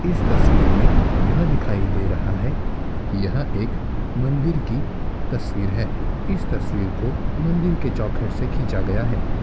इस तस्वीर में यह दिखाई दे रहा है की यह एक मंदिर की तस्वीर है इस तस्वीर को मंदिर की चौखट से खींचा गया है।